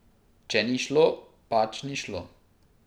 Če ni šlo, pač ni šlo.